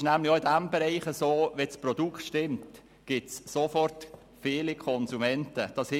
Auch in diesem Bereich gibt es nämlich sofort viele Konsumenten, wenn das Produkt stimmt.